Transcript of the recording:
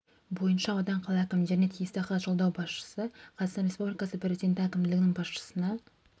бойынша аудан қала әкімдеріне тиісті хат жолдау басшысы қазақстан республикасы президенті әкімшілігінің басшысына